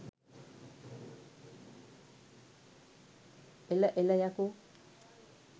එල එල යකෝ